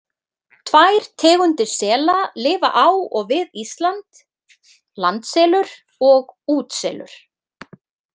Tvær tegundir sela lifa á og við Ísland, landselur og útselur.